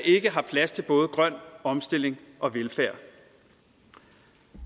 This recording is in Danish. ikke har plads til både grøn omstilling og velfærd